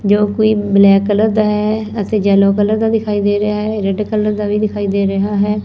ਜੋ ਕੋਈ black colour ਦਾ ਹੈ ਅਤੇ ਯੈਲੋ ਕਲਰ ਦਾ ਦਿਖਾਈ ਦੇ ਰਿਹਾ ਰੈਡ ਕਲਰ ਦਾ ਵੀ ਦਿਖਾਈ ਦੇ ਰਿਹਾ ਹੈ।